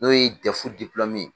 N'o ye ye.